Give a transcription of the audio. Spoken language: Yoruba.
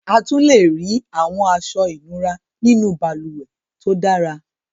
A tún lè rí àwọn aṣọ ìnura nínú balùwẹ̀ tó dára.